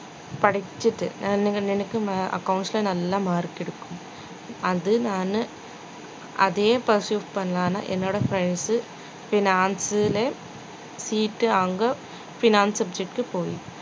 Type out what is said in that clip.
படிச்சுட்டு நல்லா accounts ல நல்ல mark எடுக்கும் அது நானு அதே process பண்ணலாம்னு என்னோட friends உ finance லே seat வாங்க fiance subject க்கு போய்